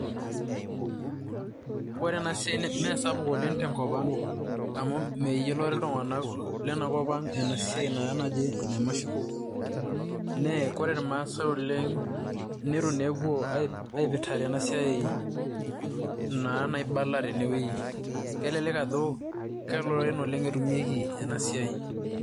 Kore ena siai mesapuk oleng' tenkop ang' amu meyiolore iltung'anak lenakop ang' ena siai naji ene mushroom. Nee kore irmaasai oleng' nitu naa epuo aipirtare ena siai naa naibala tenewuei . Kelelek ajo keloreren oleng' etumieki ena siai.